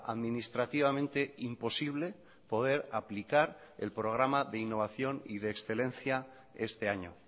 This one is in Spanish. administrativamente imposible poder aplicar el programa de innovación y de excelencia este año